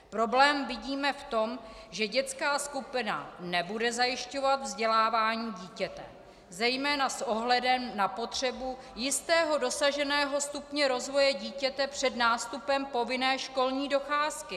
Problém vidíme v tom, že dětská skupina nebude zajišťovat vzdělávání dítěte zejména s ohledem na potřebu jistého dosaženého stupně rozvoje dítěte před nástupem povinné školní docházky.